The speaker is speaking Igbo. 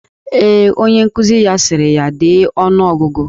Ee, onye nkuzi ya sịrị ya dee ọnụogụgụ.